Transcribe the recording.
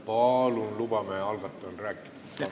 Palun lubame algatajal rääkida!